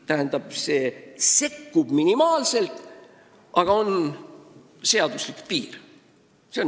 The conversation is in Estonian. Tähendab, sekkutakse minimaalselt, aga seaduslik piir on olemas.